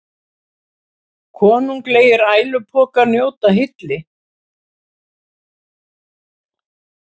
Konunglegir ælupokar njóta hylli